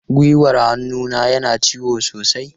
Gwiwar hannuna yana ciwo sosai.